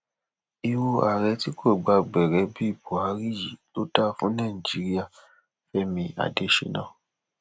irú ààrẹ tí kò gba gbẹrẹ bíi buhari yìí ló dáa fún nàìjíríà fẹmi adésínà